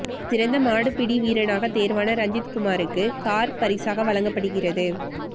இதில் சிறந்த மாடுபிடி வீரராக தேர்வான ரஞ்சித்குமாருக்கு கார் பரிசாக வழங்கப்படுகிறது